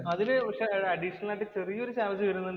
പക്ഷെ അതില് അഡീഷണൽ ആയിട്ട് ചെറിയ ഒരു ചാര്‍ജ് വരുന്നുണ്ട്.